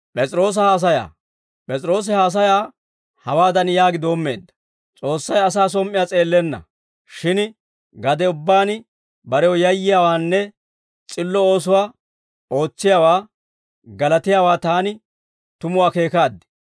P'es'iroosi haasayaa hawaadan yaagi doommeedda; «S'oossay asaa som"iyaa s'eellenna; shin gade ubbaan barew yayyiyaawaanne s'illo oosuwaa ootsiyaawaa galatiyaawaa taani tumu akeekaad.